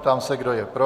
Ptám se, kdo je pro.